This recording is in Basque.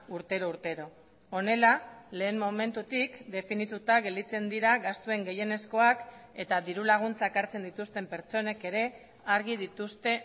urtero urtero honela lehen momentutik definituta gelditzen dira gastuen gehienezkoak eta dirulaguntzak hartzen dituzten pertsonek ere argi dituzte